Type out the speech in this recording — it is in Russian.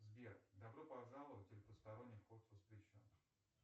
сбер добро пожаловать или посторонним вход воспрещен